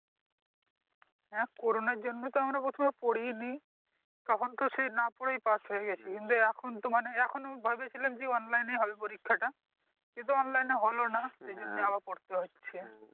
হ্যাঁ corona এর জন্যই তো আমরা প্রথমে পড়িনি তখন তো সে না পড়েই পাশ হয়ে গেছি এখনতো মানে এখনো ভয় বেশি লাগছে online হবে পরীক্ষাটা, কিন্তু online হলো নাহ তাই জন্যে আবার পড়তে হচ্ছে।